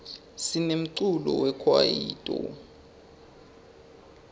sinemculo we kwayito